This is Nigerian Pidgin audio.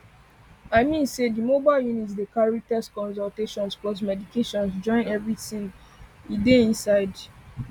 i mean say the mobile units dey carry tests consultations plus medication join everything dey inside